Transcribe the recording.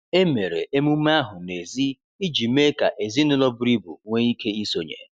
Emere emume ahụ n’èzí iji mee ka ezinụlọ buru ibu nwee ike isonye.